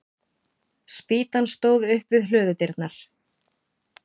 Spýtan stóð upp við hlöðudyrnar.